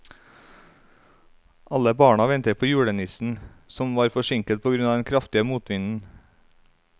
Alle barna ventet på julenissen, som var forsinket på grunn av den kraftige motvinden.